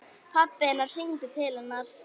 Pabbi hennar hringdi til hennar.